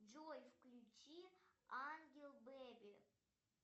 джой включи ангел бэби